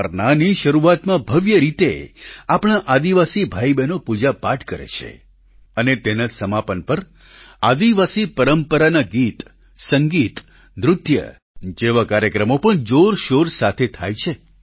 બરનાની શરૂઆતમાં ભવ્ય રીતે આપણા આદિવાસી ભાઈબહેનો પૂજાપાઠ કરે છે અને તેના સમાપન પર આદિવાસી પરંપરાના ગીતસંગીત નૃત્ય જેવા કાર્યક્રમો પણ જોરશોર સાથે થાય છે